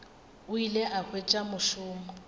o ile a hwetša mošomo